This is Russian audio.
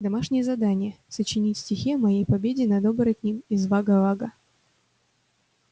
домашнее задание сочинить стихи о моей победе над оборотнем из вага-вага